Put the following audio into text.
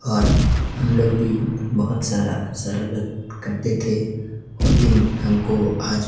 और हम लोग भी बहोत सारा शरारत करते थे वो दिन हमको आज--